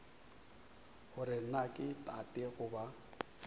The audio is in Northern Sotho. gore na ke tate goba